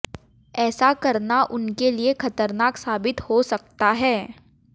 ऐसा करना उनके लिए ख़तरनाक साबित हो सकता है